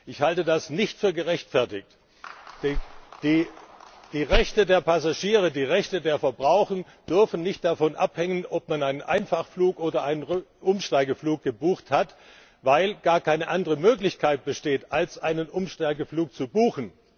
Ich halte das nicht für gerechtfertigt! Die Rechte der Passagiere, die Rechte der Verbraucher dürfen nicht davon abhängen, ob man einen Einfachflug oder einen Umsteigeflug gebucht hat, weil gar keine andere Möglichkeit besteht, als einen Umsteigeflug zu buchen.